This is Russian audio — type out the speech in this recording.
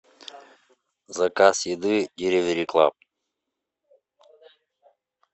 заказ еды деливери клаб